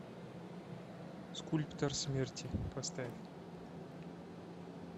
скульптор смерти поставь